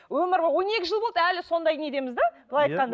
өмірі он екі жыл болды әлі сондай недеміз де былай айтқанда